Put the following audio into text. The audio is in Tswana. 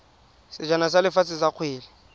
sejana sa lefatshe sa kgwele